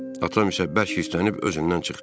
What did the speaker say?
Atam isə bərk hislələnib özündən çıxdı.